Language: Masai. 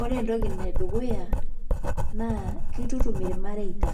Ore entoki edukuya naa kitutum irmareita